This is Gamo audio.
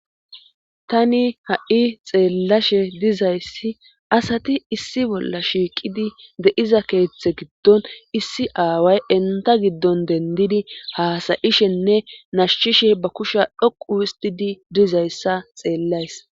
tani ha'i xeellashe dizayssi asati issi bolla shiiqidi de'iza keeththe giddon issi aaway inta giddon dendidi haasayishenne nashshishe ba kushya dhoqu histidi dizayssa xeellays.